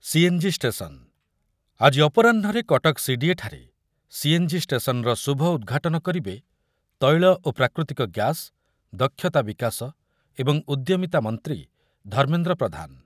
CNG station, ଆଜି ଅପରାହ୍ନରେ କଟକ ସିଡିଏଠାରେ ସିଏନ୍‌ଜି ଷ୍ଟେସନ୍‌ର ଶୁଭ ଉଦ୍‌ଘାଟନ କରିବେ ତୈଳ ଓ ପ୍ରାକୃତିକ ଗ୍ୟାସ୍, ଦକ୍ଷତା ବିକାଶ ଏବଂ ଉଦ୍ୟମିତା ମନ୍ତ୍ରୀ ଧର୍ମେନ୍ଦ୍ର ପ୍ରଧାନ ।